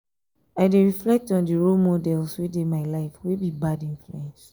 i dey reflect on di role models wey dey my life wey be bad influence.